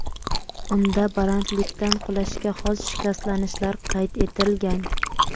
Unda balandlikdan qulashga xos shikastlanishlar qayd etilgan.